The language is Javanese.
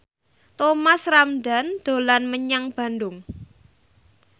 Thomas Ramdhan dolan menyang Bandung